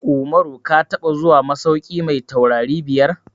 Umaru ka taɓa zuwa masauki mai taurari biyar?